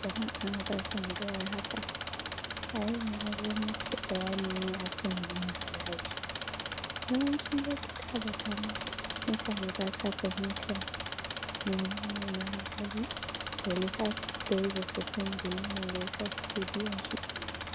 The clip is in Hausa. Jama’a barkan mu da warhaka, a yau na zo muku da bayani ne a kan biyan haraji. yawancin lokuta da dama mutane ba sa fahimtan mene ne ma haraji, balle har ya kai ga su san dalilin da ya sa suke biyan shi